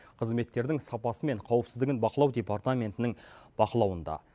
қызметтердің сапасы мен қауіпсіздігін бақылау департаментінің бақылауында